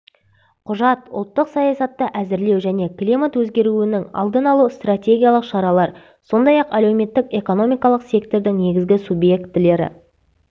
құжат ұлттық саясатты әзірлеу және климат өзгеруінің алдын алу стратегиялық шаралар сондай-ақ әлеуметтік-экономикалық сектордың негізгі субъектілері